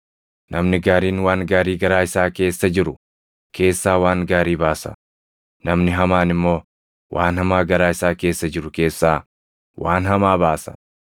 Namni gaariin waan gaarii garaa isaa keessa jiru keessaa waan gaarii baasa; namni hamaan immoo waan hamaa garaa isaa keessa jiru keessaa waan hamaa baasa.